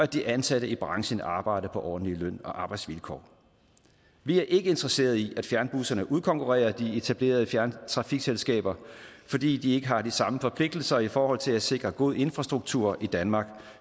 de ansatte i branchen arbejder på ordentlige løn og arbejdsvilkår vi er ikke interesseret i at fjernbusserne udkonkurrerer de etablerede trafikselskaber fordi de ikke har de samme forpligtelser i forhold til at sikre god infrastruktur i danmark